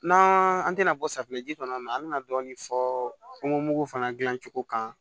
N'an an tɛna bɔ safinɛ ji kɔnɔ an bɛna dɔɔnin fɔ kungomugu fana dilan cogo kan